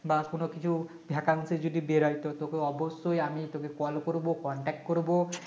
বা কোন কিছু Vacancy যদি বের হয় তো তোকে অবশ্যই আমি তোকে call করব contact করবো